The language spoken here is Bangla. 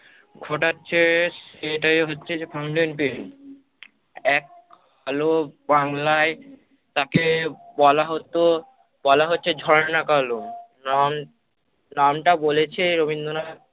ঘটাচ্ছে সেটাই হচ্ছে যে fountain pen এক আলো বাংলায় তাকে বলা হতো বলা হচ্ছে ঝর্ণা কলম। রন নামটা বলেছে রবীন্দ্রনাথ